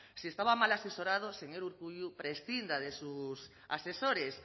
si estaba mal asesorado señor urkullu prescinda de sus asesores